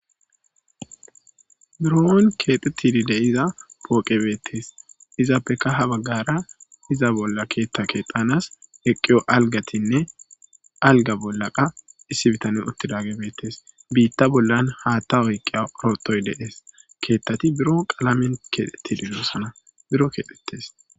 muro7on keedhu tilide iza pooqebeettes izaappeka ha baggara iza bolla keetta keexanas eqqiyo algatinne alga bollaqa issi bitane utti daagebeettes biitta bollan haatta oyqqiya orotoy deees keettati biro qalamen keexe tililosana biro keedhites